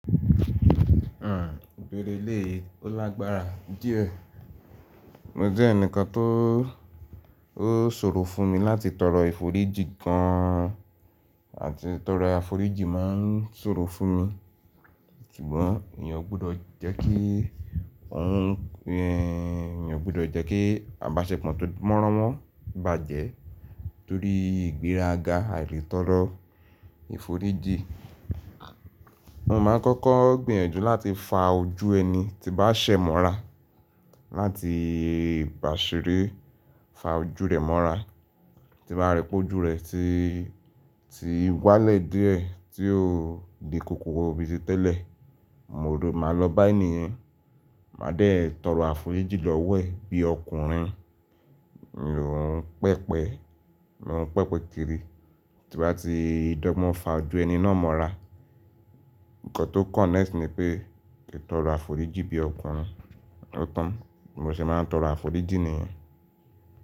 À, ìbéèrè eléyìí ó lágbára díẹ̀. Mo jẹ́ ẹnìkan tó, ó ṣòro fún mi láti tọrọ ìforíji gan an àti tọrọ àforíji máa ń ṣòro fún mi. Ṣùgbọ́n èèyàn ò gbọ́dọ̀ jẹ́ kí òun, èèyàn ò gbọ́dọ̀ jẹ́ kí àbáṣepọ̀ tó dan mọ́ràn mọ́ bàjẹ́ torí ìgbéraga àìletọ́lọ́ ìforíji. Máa kọ́kọ́ gbìyànjú láti fa ojú ẹni tí n bá ṣẹ̀ mọ́ra láti bàṣere fa ojú rẹ̀ mọ́ra. Tí n bá ripe ojú rẹ̀ tí, tí wálẹ̀ díẹ̀ tí ó di koko bi ti tẹ́lẹ̀, mo rò, màá lọ bá ènìyàn, màá dé tọrọ àforíjin lọ́wo ẹ̀ bí ọkùnrin, mi o n pẹpẹ, mi o n pẹpẹ kiri. Tí n bá ti dọ́gbọn fa ojú ẹni náà mọ́ra. Ǹkan tó kàn next ni pé kí n tọrọ àforíjin bí ọkùnrin. Ó tán, bi mo se máa ń tọrọ àforíjin niyen.